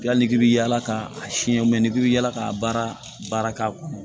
Yali k'i bi yaala k'a siyɛn i bɛ yala ka baara baara k'a kɔnɔ